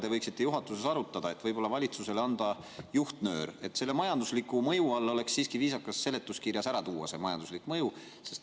Te võiksite juhatuses arutada, et võib-olla anda valitsusele juhtnöör, et selle majandusliku mõju all oleks siiski viisakas seletuskirjas ära tuua see majanduslik mõju.